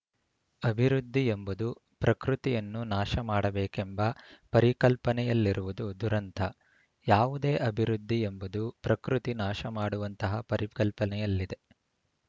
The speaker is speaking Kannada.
ಅಭಿವೃದ್ಧಿಯೆಂಬುದು ಪ್ರಕೃತಿಯನ್ನು ನಾಶ ಮಾಡಬೇಕೆಂಬ ಪರಿಕಲ್ಪನೆಯಲ್ಲಿರುವುದು ದುರಂತ ಯಾವುದೇ ಅಭಿವೃದ್ಧಿ ಎಂಬುದು ಪ್ರಕೃತಿ ನಾಶಮಾಡುವಂತಹ ಪರಿಕಲ್ಪನೆಯಲ್ಲಿದೆ